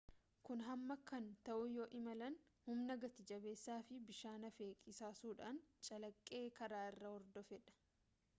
kun hamaa kan ta'u yoo imalaan humna gati jabeessaa fi bishaan hafe qisaasuudhaan calaqqee karaaa irraa hordofedha